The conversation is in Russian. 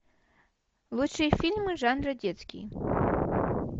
лучшие фильмы жанра детский